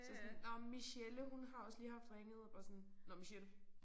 Så sådan nåh Michelle hun har også lige haft ringet bare sådan nåh Michelle